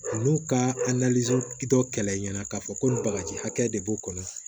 Olu ka dɔ kɛlɛ i ɲɛna k'a fɔ ko nin bagaji hakɛ de b'o kɔnɔ